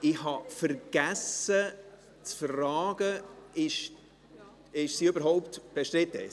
Ich habe vergessen zu fragen, ob die Motion überhaupt bestritten ist.